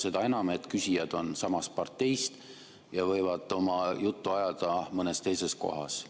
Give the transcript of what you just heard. Seda enam, et küsijad on samast parteist ja võiksid seda juttu ajada mõnes teises kohas.